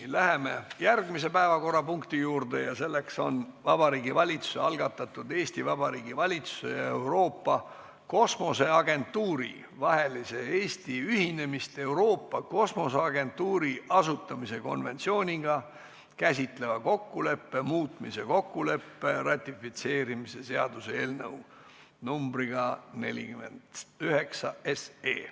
Läheme järgmise päevakorrapunkti juurde: Vabariigi Valitsuse algatatud Eesti Vabariigi valitsuse ja Euroopa Kosmoseagentuuri vahelise Eesti ühinemist Euroopa Kosmoseagentuuri asutamise konventsiooniga käsitleva kokkuleppe muutmise kokkuleppe ratifitseerimise seaduse eelnõu 49.